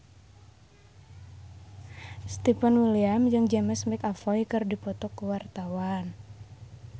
Stefan William jeung James McAvoy keur dipoto ku wartawan